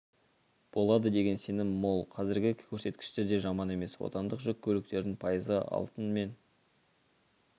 болады деген сенім мол қазіргі көрсеткіштер де жаман емес отандық жүк көліктердің пайызы алтын мен